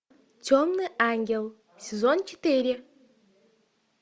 темный ангел сезон четыре